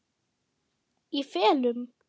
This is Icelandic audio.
Í felum?